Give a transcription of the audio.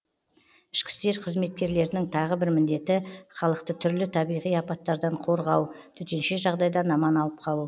ішкі істер қызметкерлерінің тағы бір міндеті халықты түрлі табиғи апаттардан қорғау төтенше жағдайдан аман алып қалу